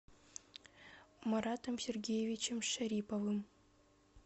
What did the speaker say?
маратом сергеевичем шариповым